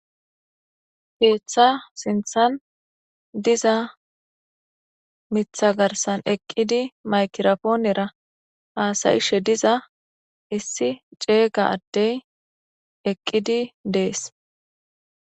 Ketha sinithan diza mitha garisan eqidi mayigira ponera hasa'she diza issi cega adey eqidi de'ese